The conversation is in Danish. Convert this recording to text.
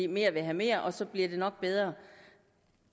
mere vil have mere og så bliver det nok bedre